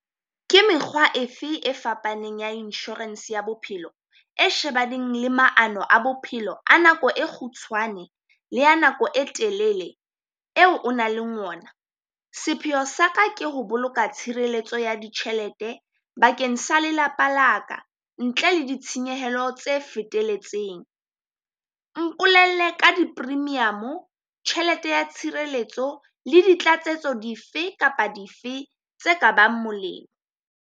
Ke mekgwa efe e fapaneng ya insurance ya bophelo e shebaneng le maano a bophelo a nako e kgutshwane le ya nako e telele eo o nang ona? Sepheo sa ka ke ho boloka tshireletso ya ditjhelete bakeng sa lelapa la ka, ntle le ditshenyehelo tse feteletseng. Mpolelle ka di premium-o, tjhelete ya tshireletso le di tlatsetso dife kapa dife tse ka bang molemo.